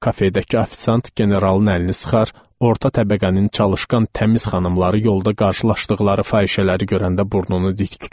Kafelərdəki ofisant generalın əlini sıxar, orta təbəqənin çalışqan təmiz xanımları yolda qarşılaşdıqları fahişələri görəndə burnunu dik tutmaz.